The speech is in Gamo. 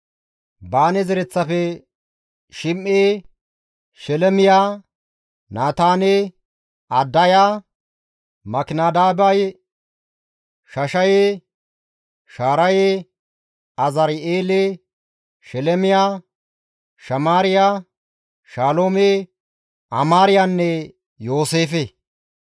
Baane zereththafe, Shim7e, Shelemiya, Naataane, Adaya, Makinadabaye, Shashaye, Shaaraye, Azari7eele, Shelmiya, Shamaariya, Shaloome, Amaariyanne Yooseefe;